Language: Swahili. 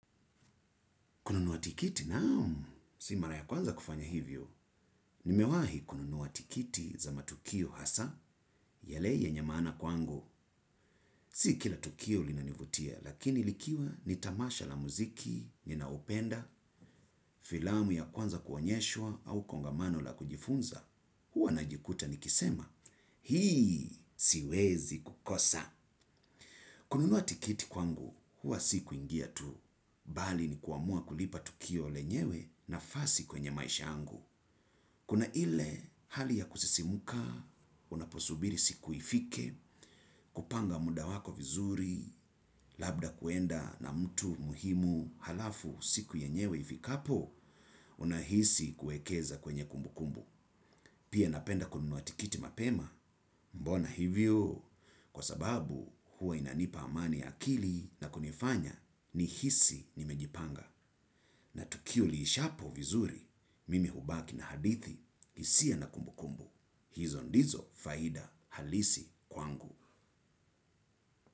Kununua tikiti? Naam. Si mara ya kwanza kufanya hivyo. Nimewahi kununua tikiti za matukio hasa. Yale yenye maana kwangu. Si kila tukio linanivutia, lakini likiwa ni tamasha la muziki, ninaupenda, filamu ya kwanza kuonyeshwa au kongamano la kujifunza. Huwa najikuta ni kisema. Hii, siwezi kukosa. Kununua tikiti kwangu, huwa si kuingia tu. Bali ni kuamua kulipa tukio lenyewe na fasi kwenye maisha yangu. Kuna ile hali ya kusisimuka, unaposubiri siku ifike, kupanga muda wako vizuri, labda kuenda na mtu muhimu alafu siku yenyewe ifikapo, unahisi kuekeza kwenye kumbu kumbu. Pia napenda kununua tikiti mapema, mbona hivyo, kwa sababu huwa inanipa amani akili na kunifanya ni hisi nimejipanga. Na tukio liishapo vizuri, mimi hubaki na hadithi isia na kumbukumbu. Hizo ndizo faida halisi kwangu.